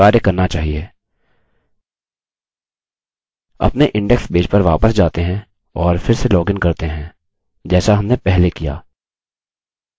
अब यह कार्य करना चाहिए अपने index पेज पर वापस जाते हैं और फिर से लॉगिन करते हैं जैसा हमने पहले किया